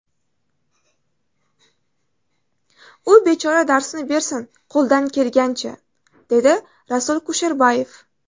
U bechora darsini bersin qo‘ldan kelgancha…”, dedi Rasul Kusherbayev.